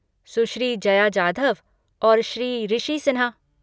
सुश्री जया जाधव और श्री ऋषि सिन्हा